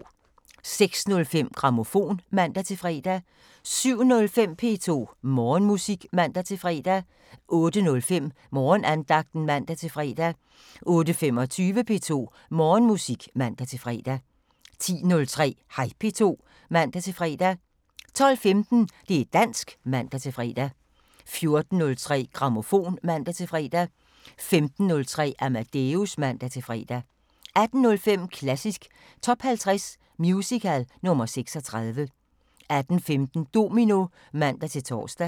06:05: Grammofon (man-fre) 07:05: P2 Morgenmusik (man-fre) 08:05: Morgenandagten (man-fre) 08:25: P2 Morgenmusik (man-fre) 10:03: Hej P2 (man-fre) 12:15: Det´ dansk (man-fre) 14:03: Grammofon (man-fre) 15:03: Amadeus (man-fre) 18:05: Klassisk Top 50 Musical – nr. 36 18:15: Domino (man-tor)